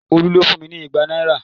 Olu ló fún mi ní igba náírà